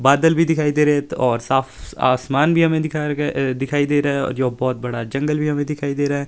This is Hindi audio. बादल भी दिखाई दे रहे है और साफ आसमान भी हमें दिखाएं दिखाई दे रहा है जो बहुत बड़ा जंगल भी हमें दिखाई दे रहा है।